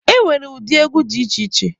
E nwere ụdị egwu dị iche iche.